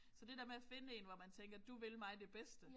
Så det der med at finde én hvor man tænker du vil mig det bedste